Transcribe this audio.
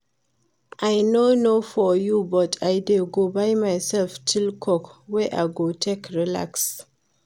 I no know for you but I dey go buy myself chill coke wey I go take relax